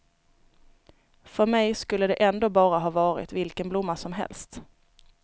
För mig skulle det ändå bara ha varit vilken blomma som helst.